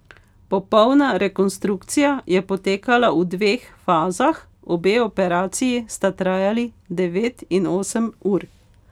Popolna rekonstrukcija je potekala v dveh fazah, obe operaciji sta trajali devet in osem ur.